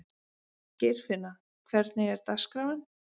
Geirfinna, hvernig er dagskráin?